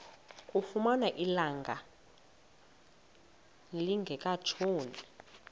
kamfumana ilanga lingekatshoni